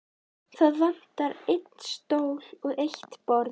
Það vantar einn stól og eitt borð.